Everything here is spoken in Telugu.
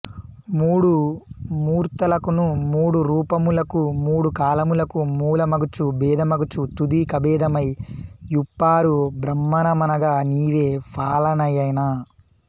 మూడు మూర్తులకును మూడు రూపములకు మూడు కాలములకు మూలమగుచు భేదమగుచు తుది కభేదమై యొప్పారు బ్రహ్మమనగ నీవె ఫాలనయన